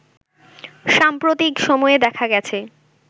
সাম্প্রতিক সময়ে দেখা গেছে